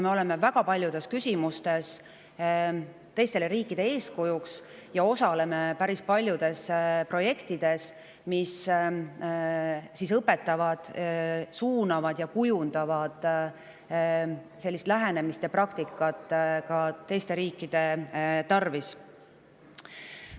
Me oleme väga paljudes küsimustes teistele riikidele eeskujuks ja osaleme päris paljudes projektides, mis õpetavad, suunavad ja kujundavad sellist lähenemist ja praktikat ka teiste riikide tarvis.